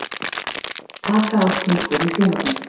Taka á þvinguðum hjónaböndum